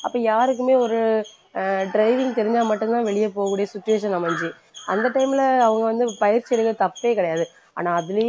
அப்போ யாருக்குமே ஒரு அஹ் driving தெரிஞ்சா மட்டுந்தான் வெளியே போகக்கூடிய situation அமைஞ்சு அந்த time ல அவங்க வந்து பயிற்சி அடைஞ்சது தப்பே கிடையாது ஆனா அதுலேயே